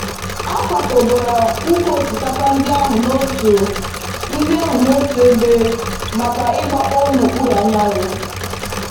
A kwakọbara ụkwụ osikapa ndị ahụ n'otu ndị ahụ n'otu ebe maka igbakpọọ n'okpuru anyanwụ.